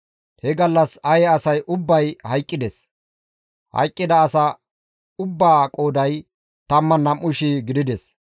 He gallas Aye asay ubbay hayqqides; hayqqida asa ubbaa qooday 12,000 gidides.